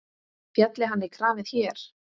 Félli hann í kramið hér?